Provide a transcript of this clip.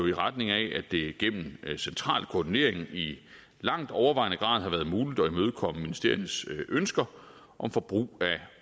i retning af at det gennem central koordinering i langt overvejende grad har været muligt at imødekomme ministeriernes ønsker om forbrug